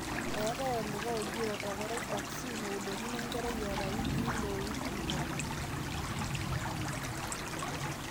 eetai olikai oji rotavirus vaccine oudokini enkerai eeta wikii ile o wikii tomon